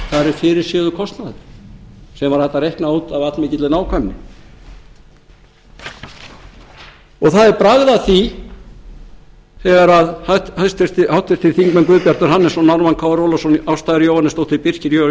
fyrirséður kostnaður sem var hægt að reikna út af allmikilli nákvæmni það er bragð að því þegar háttvirtir þingmenn guðbjartur hannesson ármann krónu ólafsson ásta r jóhannesdóttir birkir jón